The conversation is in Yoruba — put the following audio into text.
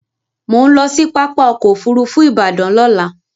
Mò ń lọ sí pápá ọkọ̀ Òfurufú Ìbàdàn lọ́la